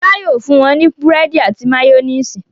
Fọlá yóò fún wọn ní búrẹ́dì àti máyónísì.